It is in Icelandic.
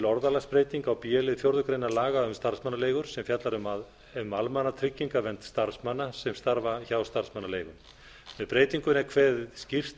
orðalagsbreyting á b lið fjórða grein laga um starfsmannaleigur sem fjallar um almannatryggingavernd starfsmanna sem starfa hjá starfsmannaleigu með breytingunni er kveðið skýrt